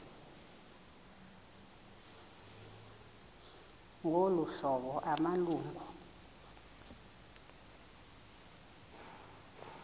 ngolu hlobo amalungu